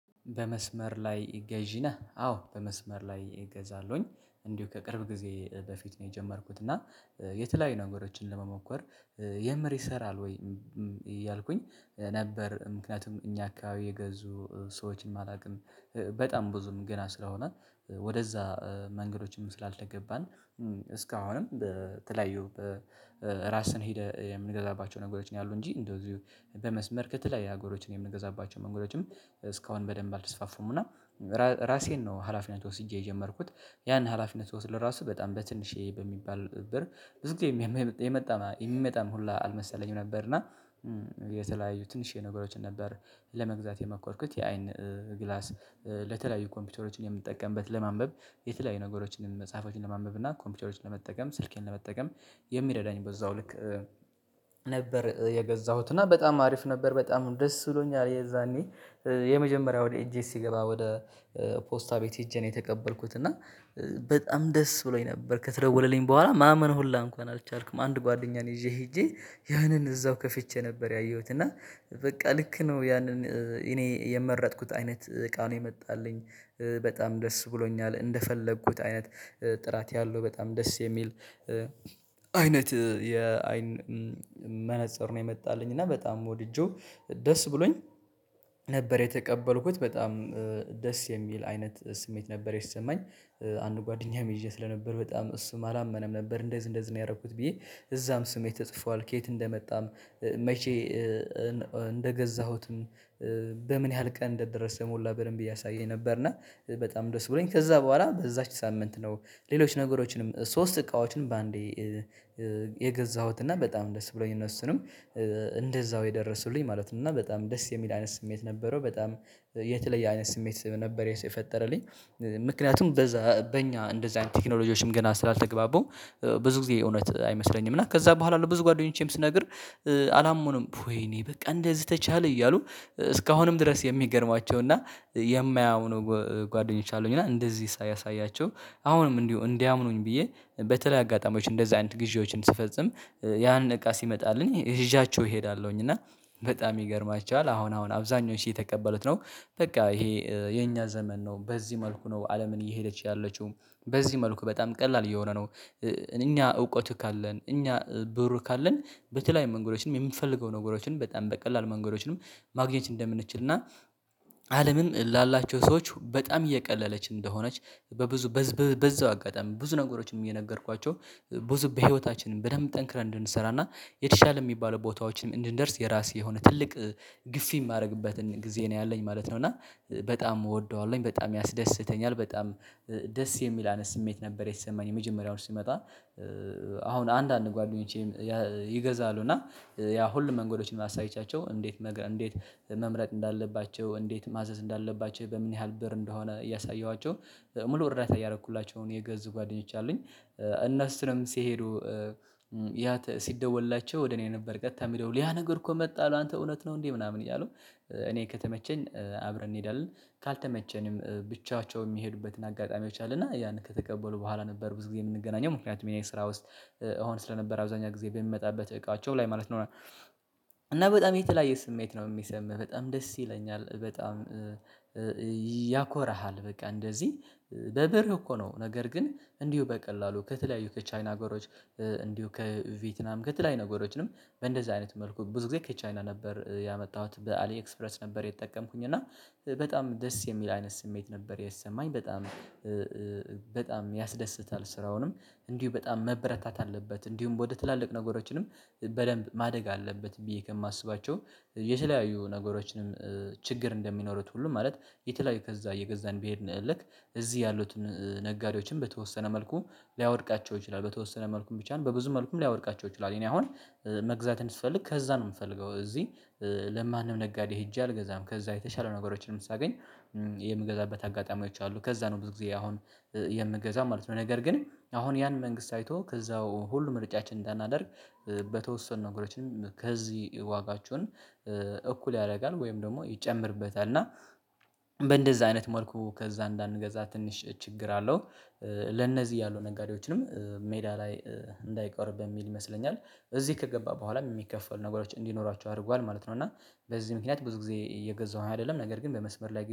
በመስመር ላይ ገዢ ነህ? አዎ በመስመር ላይ እገዛለሁኝ እንዲሁ ከቅርብ ጊዜ በፊት ነው የጀመርኩት እና የተለያዩ ነገሮችን ለመሞከር የምር ይሰራል ወይ እያልኩኝ ነበር። ምክንያቱም እኛ አካባቢ የገዙ ሰዎችም አላቅም በጣም ብዙም ገና ስለሆነ ወደዛ መንገዶችም ስላልተገባን እስካሁንም በተለያዩ በራስን ሄደህ የምንገዛባቸው ነገሮች ነው ያሉ እንጂ እንደው እዚሁ በመስመር ከተለያዩ ሀገሮችን የምንገዛባቸው ነገሮችም መንገዶችም እስካሁን በደንብ አልተስፋፉም። እና ራሴን ነው ሀላፊነት ወስጄ የጀመርኩት ያን ሀላፊነት ስወስድ ለራሱ በጣም በትንሽየ በሚባል ብር ብዙግዜም የመጣ የሚመጣም ሁላ አልመሰለኝም ነበር። እና የተለያዩ ትንሽዬ ነገሮችን ነበር ለመግዛት የመኮርኩት የአይን ግላስ ለተለያዩ ኮምፒቶሮችን የምንጠቀምበት ለማንበብ የተለያዩ ነገሮችን መጽሐፎችን ለማንበብ እና ኮምፒቶሮችን ለመጠቀም ስልኬን ለመጠቀም የሚረዳኝ በዛው ልክ ነበር የገዛሁት እና በጣም አሪፍ ነበር። በጣም ደስ ብሎኛል የዛኔ የመጀመሪያው ወደ እጄ ሲገባ ወደ ፖስታ ቤት ሄጄ ነው የተቀበልኩት እና በጣም ደስ ብሎኝ ነበር። ከተደወለልኝ በኋላ ማመን ሁላ እንኳን አልቻልኩም አንድ ጓደኛ ነውይዤ ሄጄ ያንን እዛው ከፍቼ ነበር ያየሁት እና በቃ ልክ ነው። ያንን እኔ የመረጥኩት አይነት እቃ ነው የመጣልኝ በጣም ደስ ብሎኛል እንደፈለግኩት አይነት ጥራት ያለው በጣም ደስ የሚል አይነት የአይን መነፅር ነው የመጣልኝ እና በጣም ወድጄው ደስ ብሎኝ ነበር የተቀበልኩት በጣም ደስ የሚል አይነት ስሜት ነበር የተሰማኝ። አንድ ጓደኛም ይዤ ስለነበር በጣም እሱም አላመነም ነበር እንደዚህ እንደዚህ ነው ያደረግኩት ብዬ እዛም ስሜ ተጽፏል ከየት እንደመጣም መቼ እንደገዛሁትም በምን ያህል ቀን እንደደረሰ ሁላ በደንብ እያሳየኝ ነበር። እና በጣም ደስ ብሎኝ ከዛ በኋላ በዛች ሳምንት ነው ሌሎች ነገሮችንም ሶስት እቃዎችንም በአንዴ የገዛሁት እና በጣም ደስ ብሎኝ እነሱንም እንደዛው የደረሱልኝ ማለት ነው እና በጣም ደስ የሚል አይነት ስሜት ነበረው። በጣም የተለየ አይነት ስሜት ስለነበር የፈጠረልኝ ምክንያቱም በዛ በእኛ እንደዛ አይነት ቴክኖሎጂዎችም ገና ስላልተግባቡ ብዙ ጊዜ እውነት አይመስለኝም። እና ከዛ በኋላ ብዙ ጓደኞቼም ስነግር አላመኑም ወይኔ በቃ እንደዚህ ተቻለ እያሉ እስካሁንም ድረስ የሚገርሟቸው እና የማያምኑ ጓደኞች አሉኝ። እና እንደዚህ ሳሳያቸው አሁንም እንዲሁ እንዲያምኑኝ ብዬ በተለያይ አጋጣሚዎች እንደዛ አይነት ግዢዎችን ስፈጽም ያን እቃ ሲመጣልኝ ይዣቸው እሄዳለሁኝ እና በጣም ይገርማችኋል አሁን አሁን አብዛኞቹ እየተቀበሉት ነው በቃ ይሄ የኛ ዘመን ነው በዚህ መልኩ ነው አለምን እየሄደች ያለችው በዚህ መልኩ በጣም ቀላል እየሆነ ነው። እኛ እውቀት ካለን እኛ ብሩ ካለን በተለያዩ መንገዶችንም የምፈልገው ነገሮችን በጣም በቀላሉ መንገዶችንም ማግኘት እንደምንችል እና አለምም ላላቸው ሰዎች በጣም እየቀለለች እንደሆነች በብዙ በዛው አጋጣሚ ብዙ ነገሮችም እየነገርኳቸው ብዙ በህይወታችንም በደንብ ጠንክረን እንድንሰራና የተሻለ የሚባለው ቦታዎችንም እንድንደርስ የራሴ የሆነ ትልቅ ግፊ የማደርግበትን ጊዜ ነው ያለኝ ማለት ነው። እና በጣም እወደዋለሁኝ በጣም ያስደስተኛል በጣም ደስ የሚል አይነት ስሜት ነበር። የተሰማኝ የመጀመሪያው ሲመጣ አሁን አንዳንድ ጓደኞቼ ይገዛሉ እና ያ ሁሉም መንገዶችን አሳይቻቸው እንዴት እንዴት መምረጥ እንዳለባቸው እንዴት ማዘዝ እንዳለባቸው በምን ያህል ብር እንደሆነ እያሳየኋቸው ሙሉ እርዳታ እያደረኩላቸው የገዙ ጓደኞች አሉኝ። እነሱንም እሱንም ሲሄዱ ያ ሲደወልላቸው ወደ እኔ ነበር ቀጥታ የሚደውል ያ ነገር እኮ መጣሁ አንተ እውነት ነው እንዴ? ምናምን እያሉ እኔ ከተመቸን አብረን እንሄዳለን ካልተመቸንም ብቻቸው የሚሄዱበትን አጋጣሚዎች አሉና ያንን ከተቀበሉ በኋላ ነበር ብዙ ጊዜ የምንገናኘው ምክንያቱም እኔ ስራ ውስጥ እሆን ስለነበረ አብዛኛው ጊዜ በሚመጣበት እቃቸው ላይ ማለት ነው። እና በጣም የተለያየ ስሜት ነው የሚሰማህ በጣም ደስ ይለኛል በጣም ያኮረሃል በቃ እንደዚህ በብር እኮ ነው ነገር ግን እንዲሁ በቀላሉ ከተለያዩ ከቻይና አገሮች እንዲሁ ከቬትናም ከተለያዩ ነገሮችንም በእንደዚህ አይነት መልኩ ብዙ ጊዜ ከቻይና ነበር ያመጣሁት በአሊ ኤክስፕረስ ነበር የተጠቀምኩኝ እና በጣም ደስ የሚል አይነት ስሜት ነበር የተሰማኝ በጣም በጣም ያስደስታል። ስራውንም እንዲሁ በጣም መበረታት አለበት እንዲሁም ወደ ትላልቅ ነገሮችንም በደንብ ማደግ አለበት ብዬ ከማስባቸው የተለያዩ ነገሮችንም ችግር እንደሚኖሩት ሁሉም ማለት የተለያዩ ከዛ የገዛን በሄድን ልክ እዚህ ያሉትን ነጋዴዎችን በተወሰነ መልኩ ሊያወድቃቸው ይችላል በተወሰነ መልኩም ብቻን በብዙ መልኩም ሊያወድቃቸው ይችላል። እኔ አሁን መግዛት ብፈልግ ከዛ ነው የምፈልገው እዚህ ለማንም ነጋዴ ሄጄ አልገዛም ከዛ የተሻለ ነገሮችም ሳገኝ የምገዛበት አጋጣሚዎች አሉ ከዛ ነው ብዙ ጊዜ አሁን የምገዛው ማለት ነው። ነገር ግን አሁን ያን መንግስት አይቶ ከዛው ሁሉ ምርጫችን እንዳናደርግ በተወሰኑ ነገሮችንም ከዚህ ዋጋቸውን እኩል ያደርጋል ወይም ደግሞ ይጨምርበታል እና በእንደዛ አይነት መልኩ ከዛ እንዳንገዛ ትንሽ ችግር አለው። ለነዚህ ያሉ ነጋዴዎችንም ሜዳ ላይ እንዳይቀሩ በሚል ይመስለኛል እዚህ ከገባ በኋላ የሚከፈሉ ነገሮች እንዲኖራቸው አድርጓል ማለት ነው። እና በዚህ ምክንያት ብዙ ጊዜ እየገዛሁ አይደለም ነገር ግን በመስመር ላይ